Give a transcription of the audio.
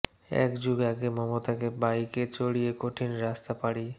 এক যুগ আগে মমতাকে বাইকে চড়িয়ে কঠিন রাস্তা পাড়ি